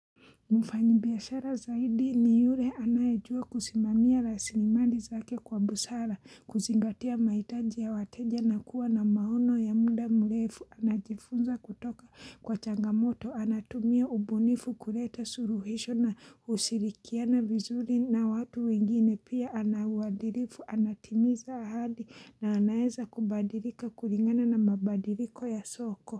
Mfanyi biashara zaidi ni yule anayejua kusimamia rasilimali i zake kwa busara, kuzingatia mahitaji ya wateja na kuwa na maono ya muda mlefu, anajifunza kutoka kwa changamoto, anatumia ubunifu kuleta suluhisho na ushirikiana vizuri na watu wengine pia anawadilifu, anatimiza ahadi na anaeza kubadilika kulingana na mabadiliko ya soko.